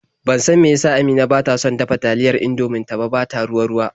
Ban san me ya sa Amina take son dafa taliyar Indomin ta ba ta ruwa-ruwa.